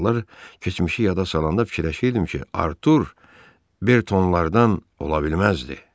Sonralar keçmişi yada salanda fikirləşirdim ki, Artur Bertonlardan ola bilməzdi.